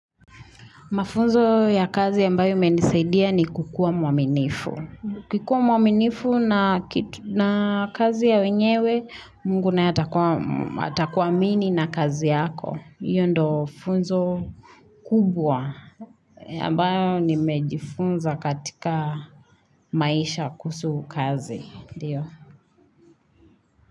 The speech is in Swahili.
Mafunzo ya kazi ambayo menisaidia ni kukuwa mwaminifu. Ukikuwa mwaminifu na kazi ya wenyewe, Mungu naye atakuamini na kazi yako. Iyo ndo funzo kubwa. Ya ambayo nimejifunza katika maisha kuhusu kazi.